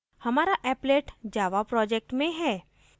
हमारा applet java project में है